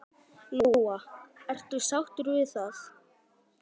Lóa: Ertu sáttur við það?